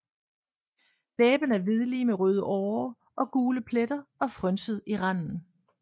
Læben er hvidlig med røde årer og gule pletter og frynset i randen